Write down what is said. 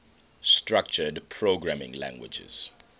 structured programming languages